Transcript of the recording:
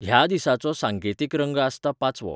ह्या दिसाचो सांकेतीक रंग आसता पाचवो.